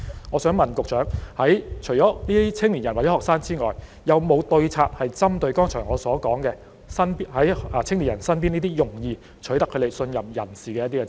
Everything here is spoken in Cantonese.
我想問局長，除了青年人或學生之外，有沒有對策針對我剛才所說在青年人身邊容易取信於他們的人呢？